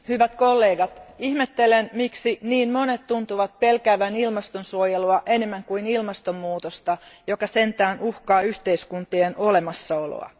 Arvoisa puhemies, hyvät kollegat, ihmettelen, miksi niin monet tuntuvat pelkäävän ilmastonsuojelua enemmän kuin ilmastonmuutosta, joka sentään uhkaa yhteiskuntien olemassaoloa.